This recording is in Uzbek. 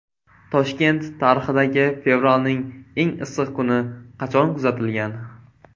Toshkent tarixidagi fevralning eng issiq kuni qachon kuzatilgan?.